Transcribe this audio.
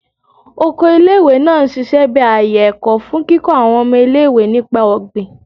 Oko ile-iwe naa n ṣiṣẹ bi aaye ẹkọ, fun kikọ awọn ọmọ ile-iwe nipa ogbin